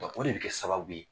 O de bɛ kɛ sababu ye